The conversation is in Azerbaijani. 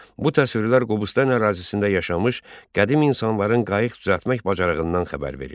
Bu təsvirlər Qobustan ərazisində yaşamış qədim insanların qayıq düzəltmək bacarığından xəbər verir.